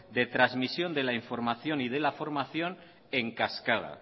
de trasmisión de la información y de la formación en cascada